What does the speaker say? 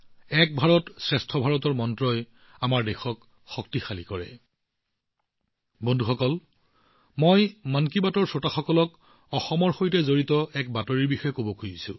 বন্ধুসকল মই শ্ৰোতাসকলক মন কী বাতৰ বিষয়ে অসমৰ সৈতে সম্পৰ্কিত এটা বাতৰিৰ বিষয়ে জনাব বিচাৰো